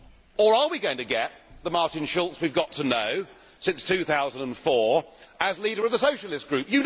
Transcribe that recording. Or are we going to get the Martin Schulz we have got to know since 2004 as leader of the Socialist Group?